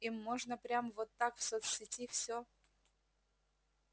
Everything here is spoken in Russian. им можно прямо вот так в соцсети всё